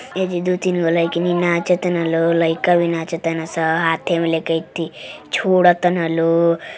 ऐजा दू तीन गो लईकिनी नाचतन लो। लइका भी नाचतन स। हाथे में लेके छोड़तन लो।